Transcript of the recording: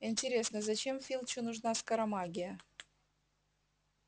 интересно зачем филчу нужна скоромагия